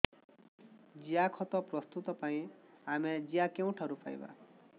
ଜିଆଖତ ପ୍ରସ୍ତୁତ ପାଇଁ ଆମେ ଜିଆ କେଉଁଠାରୁ ପାଈବା